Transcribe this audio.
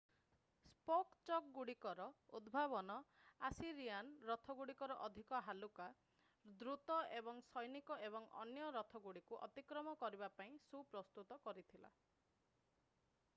spoke ଚକଗୁଡିକର ଉଦ୍ଭାବନ Assyrian ରଥଗୁଡ଼ିକୁ ଅଧିକ ହାଲୁକା ଦ୍ରୁତ ଏବଂ ସୈନିକ ଏବଂ ଅନ୍ୟ ରଥଗୁଡିକୁ ଅତିକ୍ରମ କରିବା ପାଇଁ ସୁପ୍ରସ୍ତୁତ କରିଥିଲା